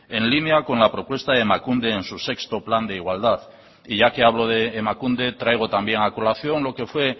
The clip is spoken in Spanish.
en línea con la propuesta de emakunde en su sexto plan de igualdad y ya que hablo de emakunde traigo también a colación lo que fue